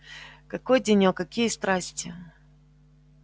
какой денёк какие страсти